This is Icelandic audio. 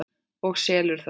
Og selur þá.